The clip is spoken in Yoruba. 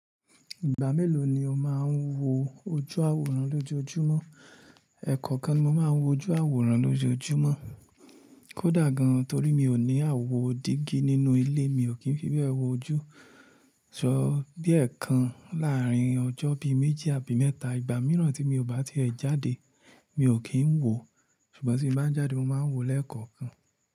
Ìgbà mélòó ni o máa n wo ojú àwòrán lójoojúmọ́? Ẹ̀kọ̀kan ni mo máa ń wo ojú àwòrán lójoojúmọ́. Kódà gan torí mi ò ní àwo dígí nínú ilé, mi ò kí n fi bẹ́ẹ̀ wo ojú. Sọ bí ẹ̀kan láàárín ọjọ́ bí méjì àbí mẹ́ta. Ìgbà mìíràn tí mi ò bá ti è jáde, mi ò kí n wo. Ṣùgbọ́n tí mo bá jáde, mo máa n wo lẹ́ẹ̀kọ̀kan.